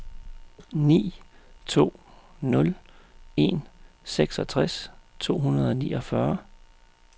ni to nul en seksogtres to hundrede og niogfyrre